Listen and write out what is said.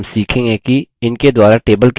इनके द्वारा table कैसे बनाएँ